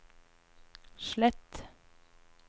slett